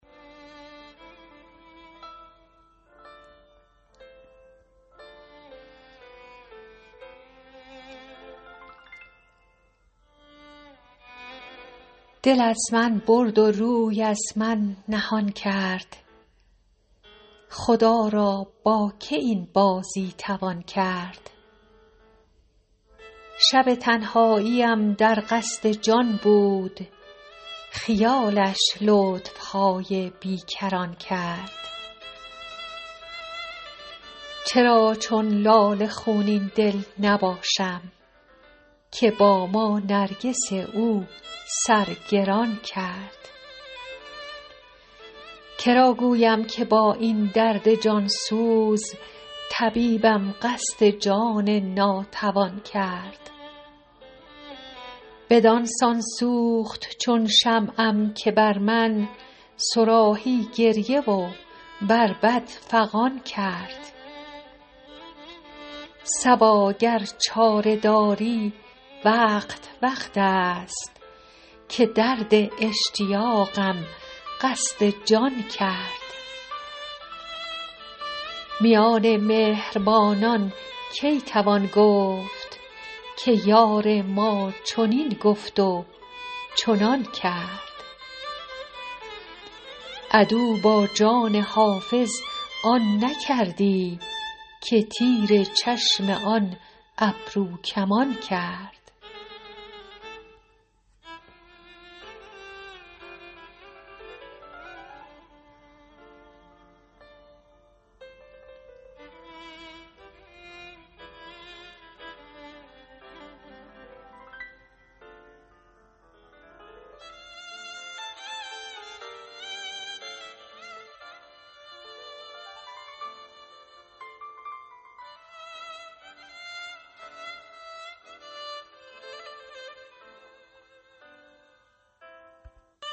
دل از من برد و روی از من نهان کرد خدا را با که این بازی توان کرد شب تنهاییم در قصد جان بود خیالش لطف های بی کران کرد چرا چون لاله خونین دل نباشم که با ما نرگس او سر گران کرد که را گویم که با این درد جان سوز طبیبم قصد جان ناتوان کرد بدان سان سوخت چون شمعم که بر من صراحی گریه و بربط فغان کرد صبا گر چاره داری وقت وقت است که درد اشتیاقم قصد جان کرد میان مهربانان کی توان گفت که یار ما چنین گفت و چنان کرد عدو با جان حافظ آن نکردی که تیر چشم آن ابروکمان کرد